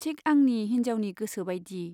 थिक आंनि हिन्जावनि गोसोबाइदि।